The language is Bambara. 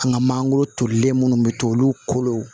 An ka mangoro tolilen minnu bɛ to olu kolo